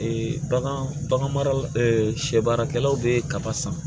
bagan bagan maralaw bɛ kaba san